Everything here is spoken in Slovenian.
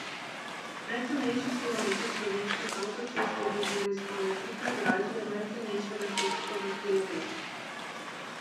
Najcenejši kilometer slovenskih avtocest je bil torej skoraj trikrat dražji od najcenejšega srbskega kilometra.